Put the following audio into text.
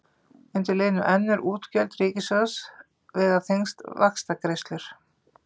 Undir liðnum önnur útgjöld ríkissjóðs vega þyngst vaxtagreiðslur.